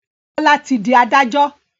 Bola tí dì adájọ́.